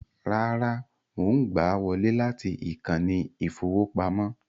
Rárá, mò ń gbà á wọlé láti ìkànnì ìfowópamọ́